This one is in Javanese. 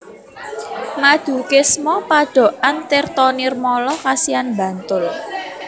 Madukismo Padokan Tirtonirmolo Kasihan Bantul